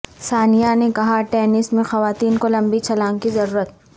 ثانیہ نے کہا ٹینس میں خواتین کو لمبی چھلانگ کی ضرورت